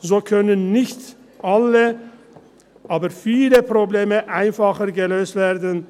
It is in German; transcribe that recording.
So können nicht alle, aber viele Probleme einfacher gelöst werden.